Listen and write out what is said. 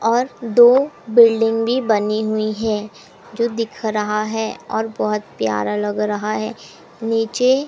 और दो बिल्डिंग भी बनी हुईं हैं जो दिख रहा है और बहोत प्यारा लग रहा है नीचे--